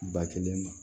Ba kelen ma